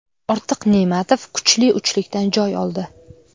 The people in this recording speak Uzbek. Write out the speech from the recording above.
Ortiq Ne’matov kuchli uchlikdan joy oldi.